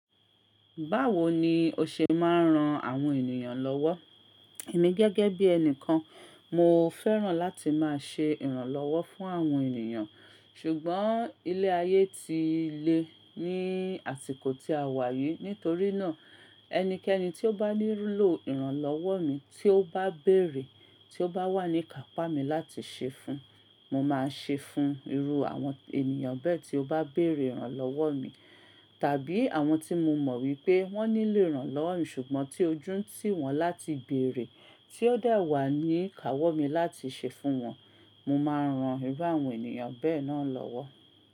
Báwo ni o ṣe máa ń ran àwọn ènìyàn lọ́wọ́? Emi gẹ́gẹ́ bí ẹni kan, mo fẹ́ràn láti máa ṣẹ ìrànlọ́wọ́ fún àwọn ènìyàn. Ṣùgbọ́n ilé ayé ti le ní àsìkò tí a wà yìí. Nítorí náà ẹnikẹ́ni tí ó bá nílò ìrànlọ́wọ́ mi tí ó bá bèrè, tí ó bá wà ní kàpá mi láti ṣe fun, mo máa ṣe fun irú àwọn ènìyàn bẹ́ẹ̀ tí ó bá béèrè ìrànlọ́wọ́ mi. Tàbí àwọn tí mo mọ̀ wípé wọ́n nílò ìrànlọ́wọ́ mi ṣùgbọ́n tí ojú ń tì wọ́n láti bèrè, tí ó de wà ní kàwọ́ mi láti ṣe fún wọn, mo máa ran irú àwọn ènìyàn bẹ́ẹ̀ náà lọ́wọ́.